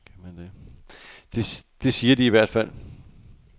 Det siger de i hvert fald.